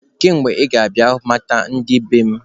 Kedu mgbe ị ga-abịa ị mata ndị be m?